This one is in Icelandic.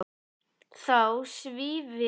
Þá svívirðilegri meðferð hans á líki Gizurar.